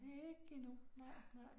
Ikke endnu nej nej